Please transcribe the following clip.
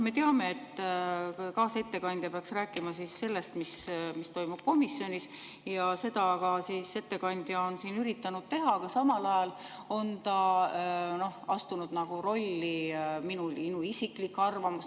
Me teame, et kaasettekandja peaks rääkima sellest, mis toimub komisjonis, ja seda ettekandja on siin ka üritanud teha, aga samal ajal on ta astunud rolli – minu isiklik arvamus.